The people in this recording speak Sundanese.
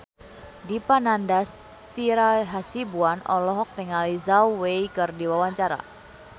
Dipa Nandastyra Hasibuan olohok ningali Zhao Wei keur diwawancara